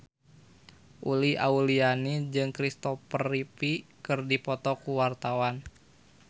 Uli Auliani jeung Christopher Reeve keur dipoto ku wartawan